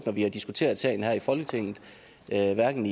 når vi har diskuteret sagen her i folketinget hverken